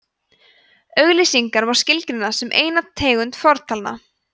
auglýsingar má skilgreina sem eina tegund fortalna